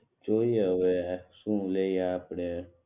જોઈએ હવે શું લઈએ આપડે